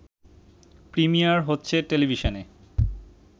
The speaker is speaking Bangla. প্রিমিয়ার হচ্ছে টেলিভিশনে